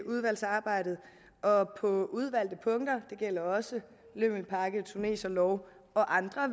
udvalgsarbejdet og på udvalgte punkter det gælder også lømmelpakke tuneserlov og andre